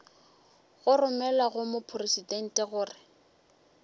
go romelwa go mopresidente gore